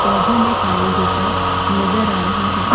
पौधों में पानी देता नज़र आ रहा है।